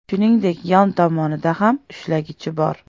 Shuningdek, yon tomonida ham ushlagichi bor.